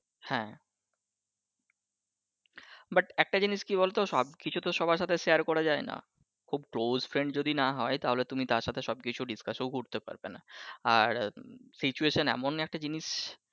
হ্যাঁ, but একটা জিনিস কি বলতো সব কিছুতো সবার সাথে শেয়ার করা যায় না। খুব close friend যদি না হয় তাহলে তুমি তার সাথে সব কিছু discuss ও করতে পারবেনা আর situation এমন একটা জিনিস